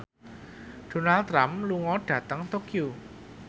Donald Trump lunga dhateng Tokyo